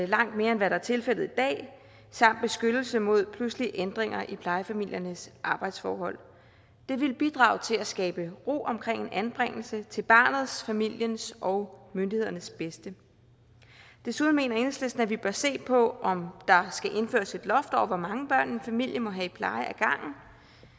langt mere end hvad der er tilfældet i dag samt beskyttelse mod pludselige ændringer i plejefamiliernes arbejdsforhold det ville bidrage til at skabe ro omkring en anbringelse til barnets familiens og myndighedernes bedste desuden mener enhedslisten at vi bør se på om der skal indføres et loft over hvor mange børn en familie må have i pleje af gangen